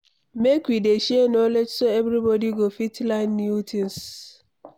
Make we dey share knowledge so everybody go fit learn new things.